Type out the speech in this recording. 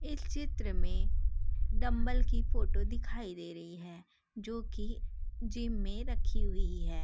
चित्र में डम्बल की फोटो दिखाई दे रही है जो की जिम में रखी हुई है।